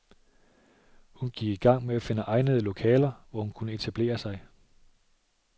Hun gik i gang med at finde egnede lokaler, hvor hun kunne etablere sig.